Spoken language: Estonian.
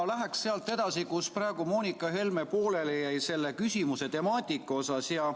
Ma lähen sealt edasi, kus Helle-Moonika Helme selle küsimuse temaatikaga seoses pooleli jäi.